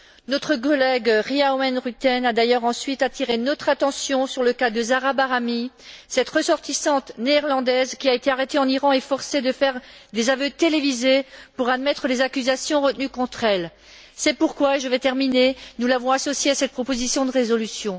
Notre collègue Ria Oomen Ruijten a d'ailleurs ensuite attiré notre attention sur le cas de Zahra Bahrami, cette ressortissante néerlandaise qui a été arrêtée en Iran et forcée de faire des aveux télévisés pour admettre les accusations retenues contre elle. C'est pourquoi nous l'avons associée à cette proposition de résolution.